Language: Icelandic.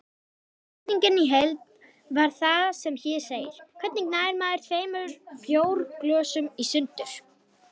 Spurningin í heild var sem hér segir: Hvernig nær maður tveimur bjórglösum í sundur?